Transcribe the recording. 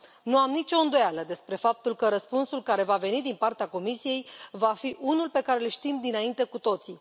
Nu am nicio îndoială despre faptul că răspunsul care va veni din partea Comisiei va fi unul pe care îl știm dinainte cu toții.